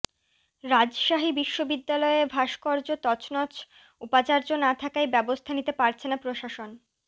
রাজশাহী বিশ্ববিদ্যালয়ে ভাস্কর্য তছনছ উপাচার্য না থাকায় ব্যবস্থা নিতে পারছে না প্রশাসন